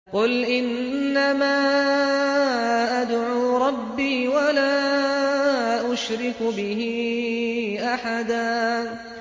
قُلْ إِنَّمَا أَدْعُو رَبِّي وَلَا أُشْرِكُ بِهِ أَحَدًا